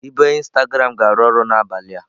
Ibe Instagram ga-arụ ọrụ n'abalị a.